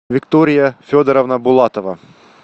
виктория федоровна булатова